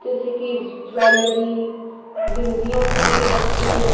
जैसे कि ज्वेलरी बिंदियो के पत्ते--